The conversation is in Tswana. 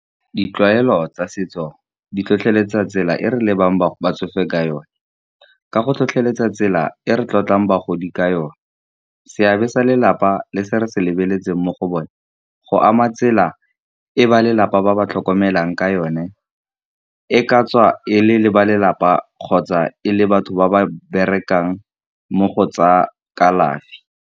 Ditlwaelo tsa setso di tlhotlheletsa tsela e re lebang botsofe ka yone, ka go tlhotlheletsa tsela e re tlotlang bagodi ka yone. Seabe sa lelapa le se re se lebeletseng mo go bone, go ama tsela e ba lelapa ba ba tlhokomelang ka yone, e ka tswa e le le balelapa kgotsa e le batho ba ba berekang mo go tsa kalafi.